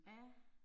Ja